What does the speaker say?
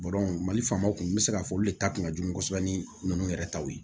mali faamaw kun n bɛ se k'a fɔ olu le ta kun ka jugu kosɛbɛ ni ninnu yɛrɛ taw ye